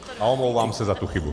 A omlouvám se za tu chybu.